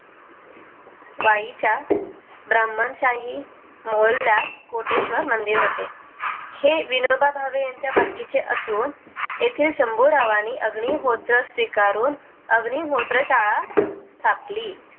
वाई च्या ब्राह्मण शाही मोल्ला कोटेश्वर मंदिर होते हे विनोबा भावे यांच्या मालकी चे असून तेथे शंभु राव आणि अग्नी होत्र स्वीकारून अग् निहोत्र शाळा स्थाप ली